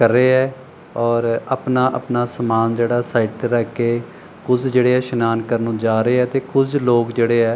ਕਰ ਰਹੇ ਹੈ ਔਰ ਆਪਣਾ-ਆਪਣਾ ਸਮਾਨ ਜਿਹੜਾ ਸਾਈਡ ਤੇ ਰੱਖ ਕੇ ਕੁਝ ਜਿਹੜੇ ਇਸ਼ਨਾਨ ਕਰਨ ਨੂੰ ਜਾ ਰਹੇ ਹੈ ਤੇ ਕੁਝ ਲੋਕ ਜਿਹੜੇ ਐ --